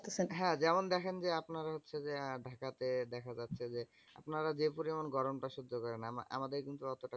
হ্যাঁ যেমন দেখেন যে আপনারা হচ্ছে যে, আহ ঢাকা তে দেখা যাচ্ছে যে, আপনারা যে পরিমান গরম তা সহ্য করেন আমা~ আমাদের কিন্তু অতটা করতে হয়না।